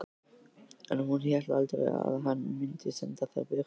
En hún hélt aldrei að hann mundi senda þær burt.